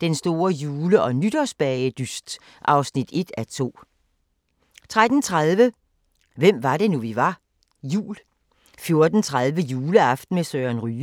Den store jule- og nytårsbagedyst (1:2)* 13:30: Hvem var det nu, vi var? - jul 14:30: Juleaften med Søren Ryge